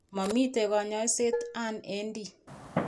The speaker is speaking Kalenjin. Momiten kanyaiset an AD